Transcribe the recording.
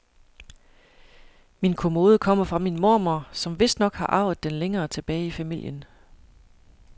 Min kommode kommer fra min mormor, som vistnok har arvet den længere tilbage i familien.